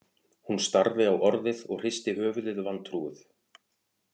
Hún starði á orðið og hristi höfuðið vantrúuð